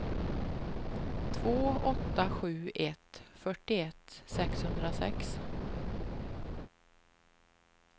två åtta sju ett fyrtioett sexhundrasex